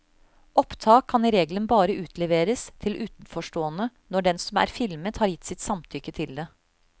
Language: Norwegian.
Opptak kan i regelen bare utleveres til utenforstående når den som er filmet har gitt sitt samtykke til det.